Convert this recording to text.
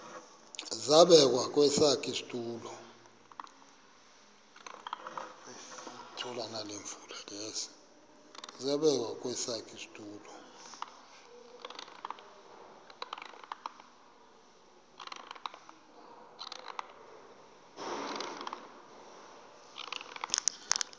zabekwa kwesakhe isitulo